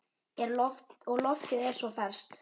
Og loftið er svo ferskt.